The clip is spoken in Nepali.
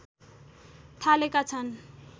थालेका छन्